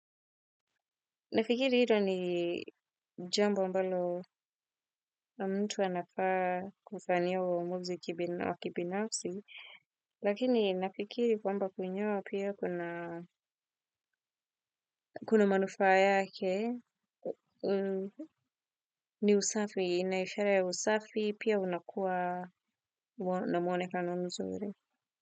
Nafikiri hii ndio ni jambo ambalo mtu anafaa kufanyiwa uamuzi wa kibinafsi lakini nafikiri kwamba kunyoa pia kuna kuna manufaa yake ni usafi ina ishara ya usafi pia unakuwa na mwonekano mzuri.